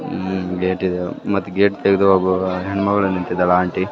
ಹ್ಮ್ gate ಇದು ಮತ್ತ್ gate ತೆಗ್ದ್ ಹೋಗುವಾಗ ಹೆಣ್ ಮಗ್ಳ್ ನಿಂತಿದ್ದಾಳ್ ಆಂಟಿ .